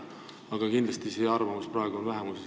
Aga kindlasti on see arvamus praegu vähemuses.